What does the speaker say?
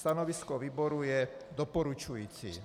Stanovisko výboru je doporučující.